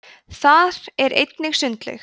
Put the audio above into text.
þar er einnig sundlaug